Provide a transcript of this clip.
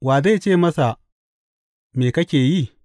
Wa zai ce masa, Me kake yi?’